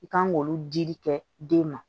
I kan k'olu dili kɛ den ma